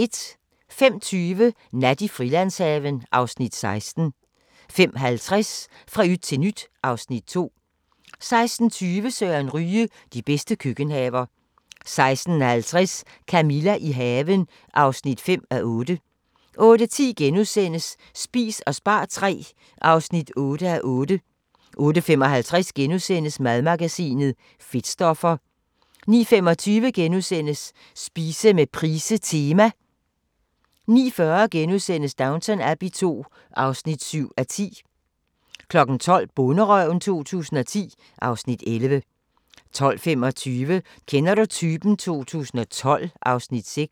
05:20: Nat i Frilandshaven (Afs. 16) 05:50: Fra yt til nyt (Afs. 2) 06:20: Søren Ryge: De bedste køkkenhaver 06:50: Camilla – i haven (5:8) 08:10: Spis og spar III (8:8)* 08:55: Madmagasinet: Fedtstoffer * 09:25: Spise med Price Tema * 09:40: Downton Abbey II (7:10)* 12:00: Bonderøven 2010 (Afs. 11) 12:25: Kender du typen? 2012 (Afs. 6)